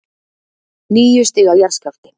Níu stiga jarðskjálfti